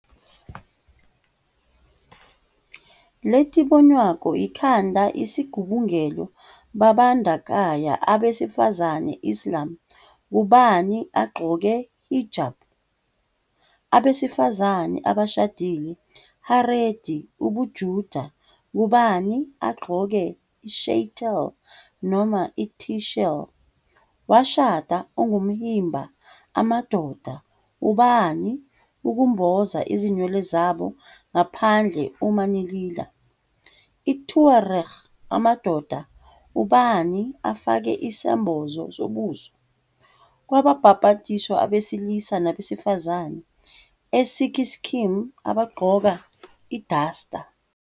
Letibonwako ikhanda isigubungelo babandakanya abesifazane Islam ngubani agqoke hijab, abesifazane abashadile Haredi UbuJuda ngubani agqoke i-sheitel noma i-tichel, washada ongumHimba amadoda ubani ukumboza izinwele zabo ngaphandle uma nilila, i-Tuareg amadoda ubani afake isembozo sobuso, kwababhabhathiswa abesilisa nabesifazane eSikhism abagqoka i- dastar.